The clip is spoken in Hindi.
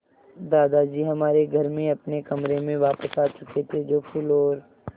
दादाजी हमारे घर में अपने कमरे में वापस आ चुके थे जो फूलों और